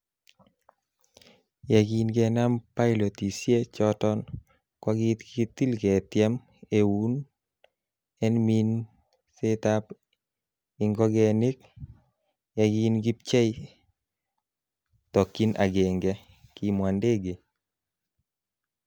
'Yekin kenaam pilotisie choton, kokikitil ketiem eun en minsetab ingogenik, ye kin kipchei tokyin agenge,''Kimwa Ndege